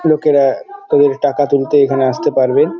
লোকেরা তাদের টাকা তুলতে এখানে আসতে পারবেন |